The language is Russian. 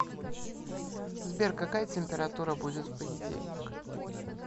сбер какая температура будет в понедельник